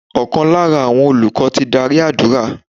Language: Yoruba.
Ọ̀kan lára àwọn olùkọ́ ti dárí àdúrà.